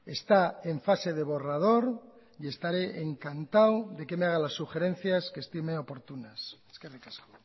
está en fase de borrador y estaré encantado de que me haga las sugerencias que estime oportunas eskerrik asko